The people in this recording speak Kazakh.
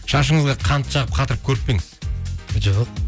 шашыңызға қант жағып қатырып көріп пе едіңіз жоқ